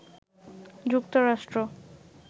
যুক্তরাষ্ট্র